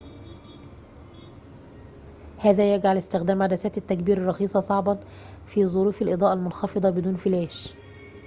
هذا يجعلُ استخدامَ عدساتِ التّكبيرِ الرخيصةِ صعبًا في ظروفِ الإضاءةِ المنخفضةِ بدون فلاش